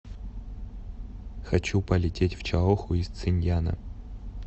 хочу полететь в чаоху из циньяна